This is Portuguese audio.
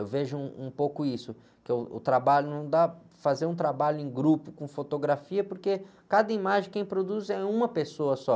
Eu vejo um, um pouco isso, que o, o trabalho não dá, para fazer um trabalho em grupo com fotografia, porque cada imagem quem produz é uma pessoa só.